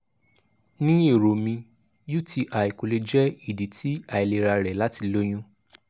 ni ero mi uti ko le jẹ idi ti ailera rẹ lati loyun